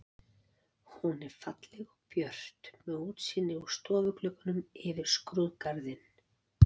Hún var falleg og björt með útsýni úr stofugluggunum yfir skrúðgarðinn.